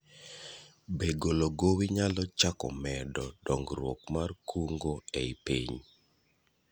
Be golo gowi nyalo chako medo dong'ruok mar kungo ei piny?